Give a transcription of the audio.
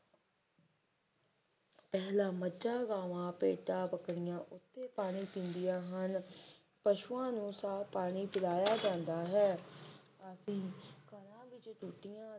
ਪਹਿਲਾ ਮੱਝਾਂ-ਗਾਵਾਂ ਭੇਡਾਂ-ਬੱਕਰੀਆਂ ਉਠੋ ਪਾਣੀ ਪੀਂਦੀਆਂ ਹਨ ਪਸ਼ੂਆਂ ਨੂੰ ਸਾਫ ਪਾਣੀ ਪਿਲਾਇਆ ਜਾਂਦਾ ਹੈ ਅਤੇ ਘਰਾਂ ਵਿੱਚ ਟੂਟੀਆਂ